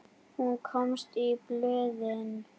Hún komst í blöðin.